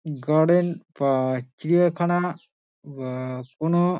garden বা চিড়িয়াখানা বা কোনো --